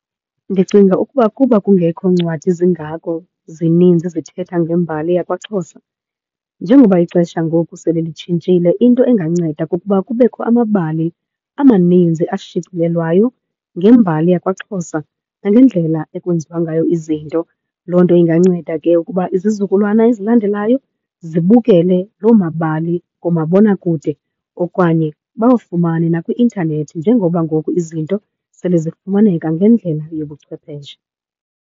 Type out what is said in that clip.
Ndicinga ukuba kuba kungekho ncwadi zingako zininzi zithetha ngembali yakwaXhosa, njengoba ixesha ngoku sele litshintshile into enganceda kukuba kubekho amabali amaninzi ashicilelwayo ngembali yakwaXhosa nangendlela ekwenziwa ngayo izinto. Loo nto inganceda ke ukuba izizukulwana ezilandelayo zibukele loo mabali kumabonakude okanye bawafumane nakwi-intanethi njengoba ngoku izinto sele zifumaneka ngendlela yobuchwepheshe.